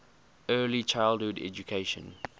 early childhood education